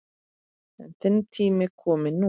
Er þinn tími kominn núna?